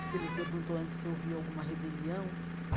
Você me perguntou antes se eu vi alguma rebelião.